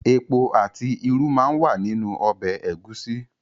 Epo àti irú máa ń wà nínú ọbẹ̀ Ẹ̀gúsí